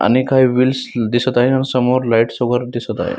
आणि काही व्हील्स दिसत आहे आणि समोर लाइटस वगेरे दिसत आहेत.